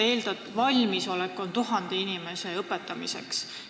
Eelnõu järgi on valmisolek 1000 inimese õpetamiseks.